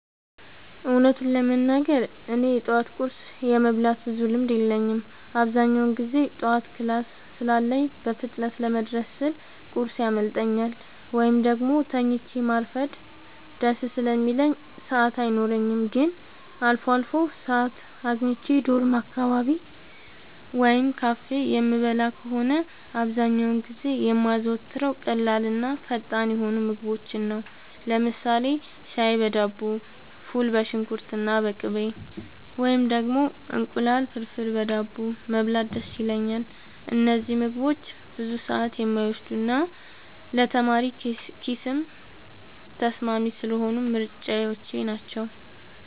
እውነቱን ለመናገር እኔ የጠዋት ቁርስ የመብላት ብዙም ልምድ የለኝም። አብዛኛውን ጊዜ ጠዋት ክላስ ስላለኝ በፍጥነት ለመድረስ ስል ቁርስ ያመልጠኛል፤ ወይም ደግሞ ተኝቶ ማርፈድ ደስ ስለሚለኝ ሰዓት አይኖረኝም። ግን አልፎ አልፎ ሰዓት አግኝቼ ዶርም አካባቢ ወይም ካፌ የምበላ ከሆነ፣ አብዛኛውን ጊዜ የማዘወትረው ቀላልና ፈጣን የሆኑ ምግቦችን ነው። ለምሳሌ ሻይ በዳቦ፣ ፉል በሽንኩርትና በቅቤ፣ ወይም ደግሞ እንቁላል ፍርፍር በዳቦ መብላት ደስ ይለኛል። እነዚህ ምግቦች ብዙ ሰዓት የማይወስዱና ለተማሪ ኪስም ተስማሚ ስለሆኑ ምርጫዎቼ ናቸው።